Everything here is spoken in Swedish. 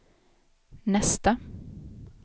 nästa